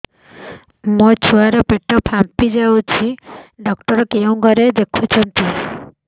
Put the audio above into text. ମୋ ଛୁଆ ର ପେଟ ଫାମ୍ପି ଯାଉଛି ଛୁଆ ଡକ୍ଟର କେଉଁ ଘରେ ଦେଖୁ ଛନ୍ତି